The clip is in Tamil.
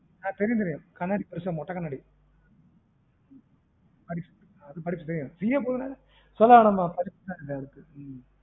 ஆஹ் தெரியும் தெரியும் கண்ணாடி பெருசா மொட்ட கண்ணாடி படிப்ஸ் அது படிப்ஸ் தெரியும CA போதுனா சொல்லவேணாமா படிப்ஸா இல்லயானுட்டு